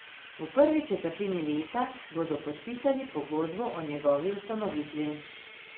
V prvi četrtini leta bodo podpisali pogodbo o njegovi ustanovitvi.